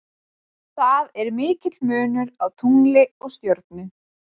Það er mikill munur á tungli og stjörnu.